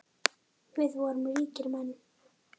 Við vorum ríkir menn.